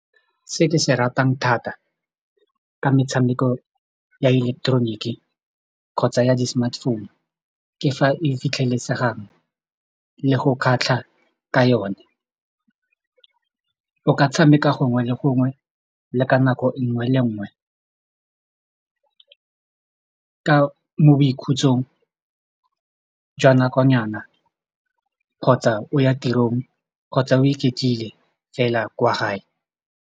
Se ke se ratang thata ke metshameko ya ileketeroniki kgotsa ya di-smartphone ke fa e fitlhelesegang le go kgatlha ka yone, o ka tshameka gongwe le gongwe le ka nako nngwe le nngwe ka mo boikhutsong jwa nakonyana kgotsa o ya tirong kgotsa o iketlile fela kwa gae.